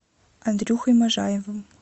андрюхой можаевым